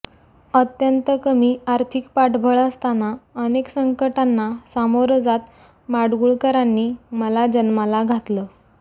अत्यंत कमी आर्थिक पाठबळ असताना अनेक संकटांना सामोरं जात माडगुळकरांनी मला जन्माला घातलं